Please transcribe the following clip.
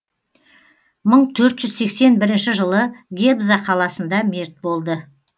мың төрт жүз сексен бірінші жылы гебза қаласында мерт болды